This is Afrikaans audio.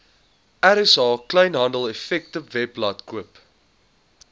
rsa kleinhandeleffektewebblad koop